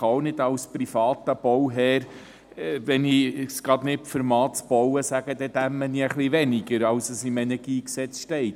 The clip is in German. Als privater Bauherr kann ich – wenn ich es mir das Bauen gerade nicht leisten kann – auch nicht sagen: «Dann einfach ein bisschen weniger, als im Energiegesetz steht».